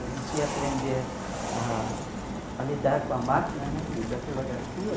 A gente ia aprender a a lidar com a máquina né de datilografia.